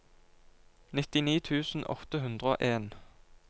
nittini tusen åtte hundre og en